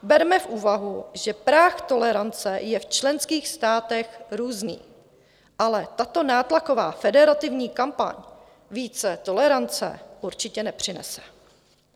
Berme v úvahu, že práh tolerance je v členských státech různý, ale tato nátlaková federativní kampaň více tolerance určitě nepřinese.